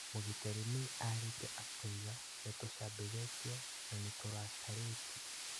Mũgitĩri Mee arĩtie akoiga "nĩtucambithĩtio, na nĩtũrakarĩtio"